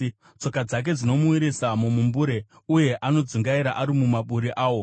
Tsoka dzake dzinomuwisira mumumbure, uye anodzungaira ari mumaburi awo.